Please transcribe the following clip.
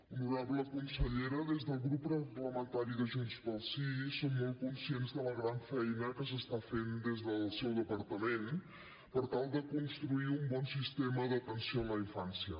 honorable consellera des del grup parlamentari de junts pel sí som molt conscients de la gran feina que s’està fent des del seu departament per tal de construir un bon sistema d’atenció a la infància